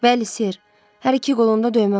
Bəli, Ser, hər iki qolunda döymə var.